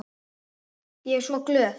Ég er svo glöð.